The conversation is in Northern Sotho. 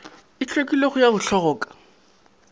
e hlwekilego ya go hloka